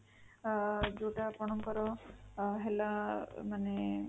ଅଂ ଯୋଉଟା ଆପଣଙ୍କର ହେଲା ମାନେ